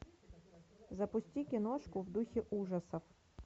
запусти киношку в духе ужасов